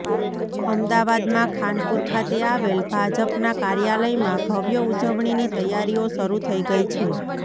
અમદાવાદમા ખાનપુર ખાતે આવેલ ભાજપના કાર્યાલયમાં ભવ્ય ઉજવણીની તૈયારીઓ શરૂ થઈ ગઈ છે